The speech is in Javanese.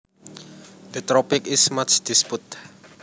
The topic is much disputed